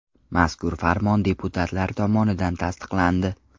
Mazkur farmon deputatlar tomonidan tasdiqlandi.